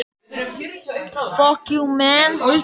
Evrópusambandið hefur lagt sitt af mörkum.